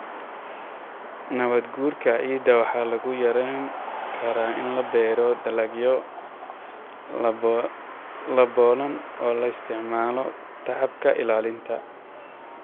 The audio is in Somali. Nabaadguurka ciidda waxa lagu yarayn karaa in la beero dalagyo daboolan oo la isticmaalo tacabka ilaalinta.